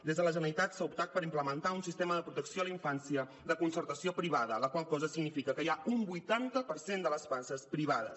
des de la generalitat s’ha optat per implementar un sistema de protecció de la infància de concertació privada la qual cosa significa que hi ha un vuitanta per cent de les places privades